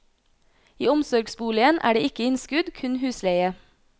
I omsorgsboligen er det ikke innskudd, kun husleie.